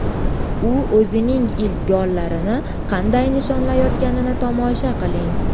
U o‘zining ilk gollarini qanday nishonlayotganini tomosha qiling.